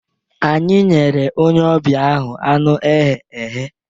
Anyị nyere onye ọbịa ahụ anụ eghe eghe